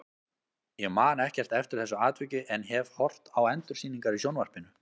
Ég man ekkert eftir þessu atviki en hef horft á endursýningar í sjónvarpinu.